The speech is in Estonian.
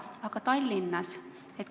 Aga Tallinnas?